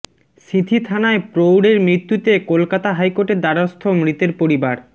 সিঁথি থানায় প্রৌঢ়ের মৃ্ত্যুতে কলকাতা হাইকোর্টের দ্বারস্থ মৃতের পরিবার